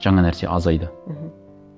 жаңа нәрсе азайды мхм